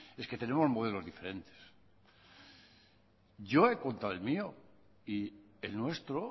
es que tenemos modelos diferentes yo he contado el mío y el nuestro